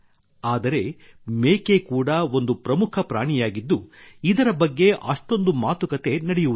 ಆದರೆ ಮೇಕೆ ಕೂಡ ಒಂದು ಪ್ರಮುಖ ಪ್ರಾಣಿಯಾಗಿದ್ದು ಇದರ ಬಗ್ಗೆ ಅಷ್ಟೊಂದು ಮಾತುಕತೆ ನಡೆಯುವುದಿಲ್ಲ